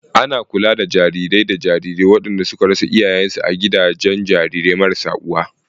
Ana kula da jarirai da jarirai waɗanda suka rasa iyayensu a Gidajen Jarirai marasa uwa.